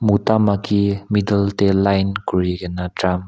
mota maiki middle te line kuri kena drum --